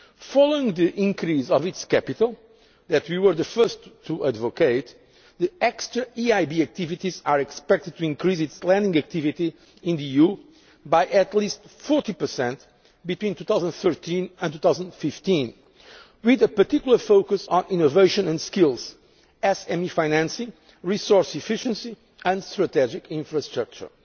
field. Following the increase of its capital that we were the first to advocate the extra EIB activities are expected to increase its lending activity in the EU by at least 40 between 2013 and 2015, with a particular focus on innovation and skills, SME financing, resource efficiency and strategic infrastructure.